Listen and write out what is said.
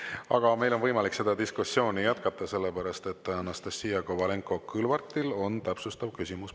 Aga meil on võimalik seda diskussiooni jätkata, sest Anastassia Kovalenko-Kõlvartil on täpsustav küsimus.